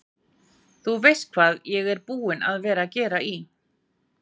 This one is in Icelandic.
Þú veist hvað ég er búinn að vera að gera í.